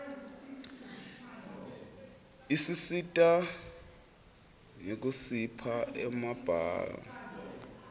isisita nyekusipha emabalaue